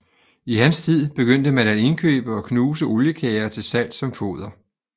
I hans tid begyndte man at indkøbe og knuse oliekager til salg som foder